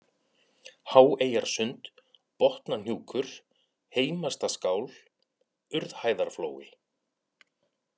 Háeyjarsund, Botnahnjúkur, Heimastaskál, Urðhæðarflói